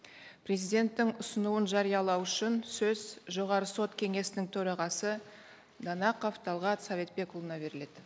президенттің ұсынуын жариялау үшін сөз жоғарғы сот кеңесінің төрағасы данақов талғат советбекұлына беріледі